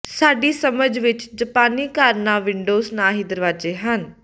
ਸਾਡੀ ਸਮਝ ਵਿਚ ਜਪਾਨੀ ਘਰ ਨਾ ਵਿੰਡੋਜ਼ ਨਾ ਹੀ ਦਰਵਾਜ਼ੇ ਹਨ